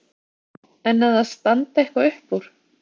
En að það standi eitthvað upp úr?